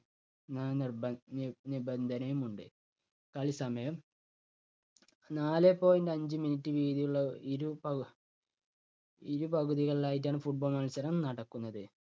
നി~നിബന്ധനയും ഉണ്ട്. കളി സമയം നാലെ point അഞ്ച് minute വീതിയുള്ള ഇരുപകു ഇരുപകുതികളിലായിട്ടാണ് football മത്സരം നടക്കുന്നത്.